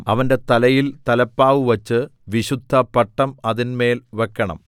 അവന്റെ തലയിൽ തലപ്പാവ് വച്ച് വിശുദ്ധപട്ടം അതിന്മേൽ വെക്കണം